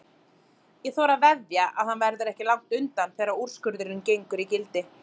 Ég þori að veðja að hann verður ekki langt undan þegar úrskurðurinn gengur í gildi.